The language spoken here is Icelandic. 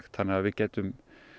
þannig að við gætum